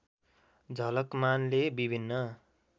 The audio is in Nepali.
झलकमानले विभिन्न